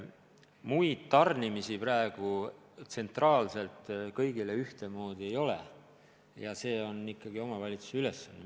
Muud tarnimist praegu tsentraalselt kõigile ühtemoodi ei ole, see on ikkagi omavalitsuse ülesanne.